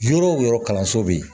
Yɔrɔ o yɔrɔ kalanso bɛ yen